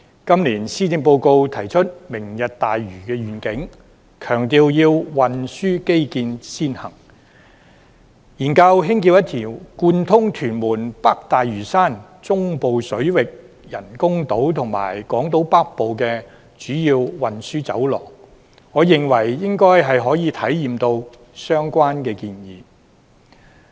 今年施政報告提出"明日大嶼願景"，強調要運輸基建先行，研究興建一條貫通屯門、北大嶼山、中部水域人工島與港島北部的主要運輸走廊，我認為應該可以回應到相關的建議。